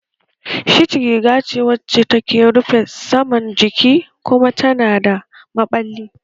Shirt riga ce wacce ke rufe saman jiki kuma tana da maɓalli